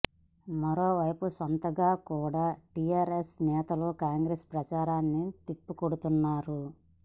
మరోవైపు సొంతంగా కూడా టీఆర్ఎస్ నేతలు కాంగ్రెస్ ప్రచారాన్ని తిప్పి కొడుతున్నారు